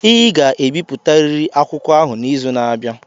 ị ga-ebipụtariri akwụkwọ ahụ n'izu na-abịa!